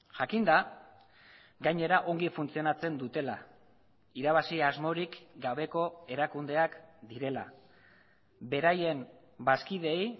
jakinda gainera ongi funtzionatzen dutela irabazi asmorik gabeko erakundeak direla beraien bazkideei